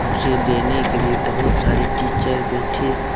उसे देने के लिए बहुत सारे टीचर बैठे--